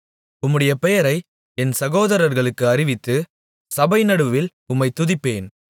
உம்முடைய பெயரை என் சகோதரர்களுக்கு அறிவித்து சபைநடுவில் உம்மைத் துதிப்பேன்